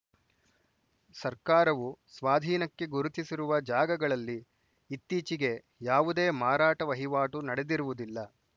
ಸರ್ಕಾರವು ಸ್ವಾಧೀನಕ್ಕೆ ಗುರುತಿಸಿರುವ ಜಾಗಗಳಲ್ಲಿ ಇತ್ತೀಚೆಗೆ ಯಾವುದೇ ಮಾರಾಟ ವಹಿವಾಟು ನಡೆದಿರುವುದಿಲ್ಲ